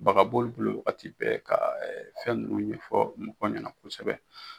Baga b'olu bolo wagati bɛɛ ka fɛn ninnu ɲɛfɔ mɔgɔ ɲɛna kosɛbɛ